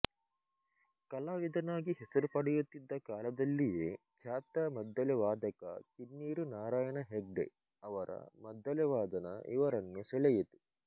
ಕಲಾವಿದನಾಗಿ ಹೆಸರು ಪಡೆಯುತ್ತಿದ್ದ ಕಾಲದಲ್ಲಿಯೇ ಖ್ಯಾತ ಮದ್ದಲೆ ವಾದಕ ಕಿನ್ನೀರು ನಾರಾಯಣ ಹೆಗ್ಡೆ ಅವರ ಮದ್ದಲೆ ವಾದನ ಇವರನ್ನು ಸೆಳೆಯಿತು